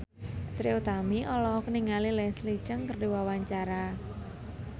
Trie Utami olohok ningali Leslie Cheung keur diwawancara